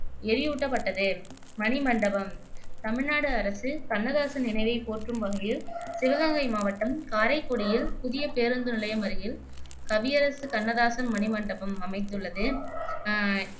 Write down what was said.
எரியூட்டப்பட்டது மணிமண்டபம் தமிழ்நாடு அரசு கண்ணதாசன் நினைவை போற்றும் வகையில் சிவகங்கை மாவட்டம் காரைக்குடியில் புதிய பேருந்து நிலையம் அருகில் கவியரசு கண்ணதாசன் மணிமண்டபம் அமைத்துள்ளது அஹ்